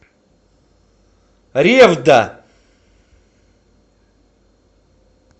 ревда